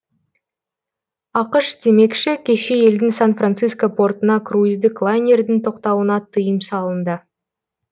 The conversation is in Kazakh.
ақш демекші кеше елдің сан франциско портына круиздік лайнердің тоқтауына тыйым салынды